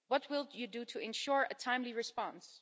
What will you do to ensure a timely response?